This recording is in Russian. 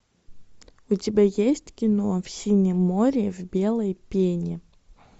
у тебя есть кино в синем море в белой пене